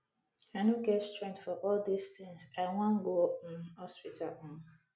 i no get strength for all dis things i wan go um hospital um